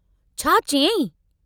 छा चयाईं?